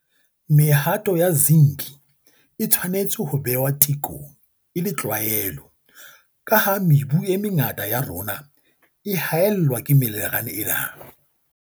Mehato ya Zinc e tshwanetse ho behwa tekong e le tlwaelo, ka ha mebu e mengata ya rona e haellwa ke minerale ena.